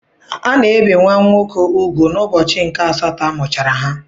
Ana ebe nwa nwoke ùgwù n'ụbọchị nke asatọ amụchara ha.